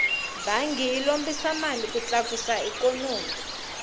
bangi yi lombisa mali ku tlakusa ikhonomi